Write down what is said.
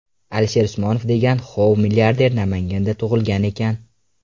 Alisher Usmonov degan hooov milliarder Namanganda tug‘ilgan ekan.